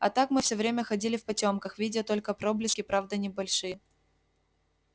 а так мы всё время ходили в потёмках видя только проблески правды не большие